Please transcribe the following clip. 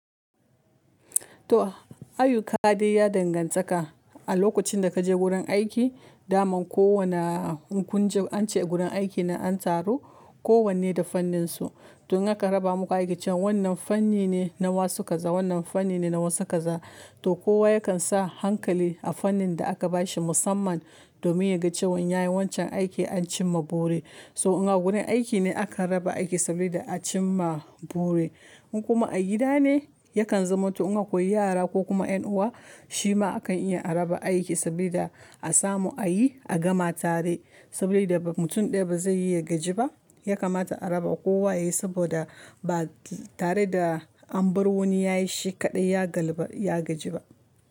To, ayyuka ɗai ya danganta ka. A lokocin da ka je wurin aiki, daman kowana kunje an ce gurin aiki nan an taru kowanne da fanninsu. Don haka raba muku aikican wannan fanni ne na wa suka za, wannan fanni ne na wa suka za. To kowa yakan sa hankali a fannin da aka bashi musamman domin ya ga cewan ya yi wancan aiki an cimma buri. So in a wurin aiki ne akan raba aiki sabida a cimma buri. Kuma a gida ne yakan zama, to in ka koi yara ko kuma ƴan uwa, shi ma akan iya a raba aiki sabida a samu a yi a gama tare. Sabida ba mutun ɗaya ba zai yi ya gaji ba, ya kamata a raba kowa yayi saboda ba tare da an bar wani yayi shi kaɗai ya galba, ya gaji ba.